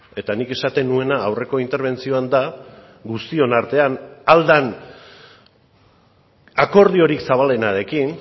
eta nik esaten nuena aurreko interbentzioan da guztion artean ahal den akordiorik zabalenarekin